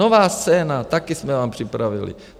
Nová scéna, taky jsme vám připravili.